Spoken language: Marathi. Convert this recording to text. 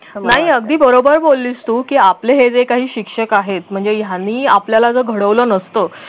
नाही अगदी बरोबर बोललीस तू की आपले हे जे काही शिक्षक आहेत म्हणजे यांनी आपल्याला जर घडवलं नसतं